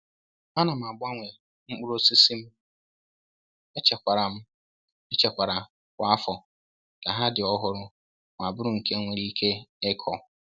A na m gbanwee mkpụrụ osisi m echekwara m echekwara kwa afọ ka ha dị ọhụrụ ma bụrụ nke nwere ike ịkụ.